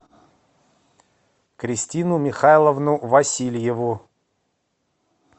кристину михайловну васильеву